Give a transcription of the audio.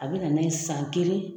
A bɛ nana ye san kelen